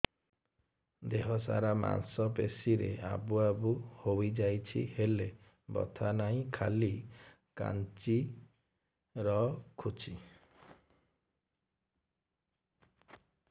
ଦେହ ସାରା ମାଂସ ପେଷି ରେ ଆବୁ ଆବୁ ହୋଇଯାଇଛି ହେଲେ ବଥା ନାହିଁ ଖାଲି କାଞ୍ଚି ରଖୁଛି